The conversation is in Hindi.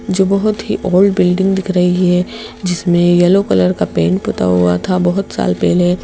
जो बहोत ही ओल्ड बिल्डिंग दिख रही हैं जिसमें येलो कलर का पेंट पुता हुआ था बहोत साल पेहले--